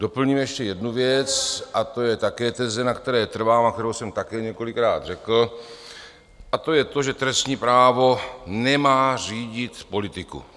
Doplním ještě jednu věc - a to je také teze, na které trvám a kterou jsem také několikrát řekl - a to je to, že trestní právo nemá řídit politiku.